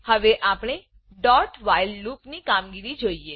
હવે આપણે doવ્હાઇલ લૂપ ડુ વાઇલ લુપ ની કામગીરી જોઈએ